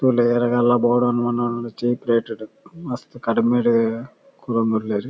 ತೂಲೆ ಏರೆಗ್ ಆಂಡಲ ಬೋಡೂಂದ್ ಆಂಡ ಚೀಪ್ ರೇಟ್ ಡ್ ಮಸ್ತ್ ಕಡಿಮೆಡ್ ಕೊರೊಂದುಲ್ಲೆರ್.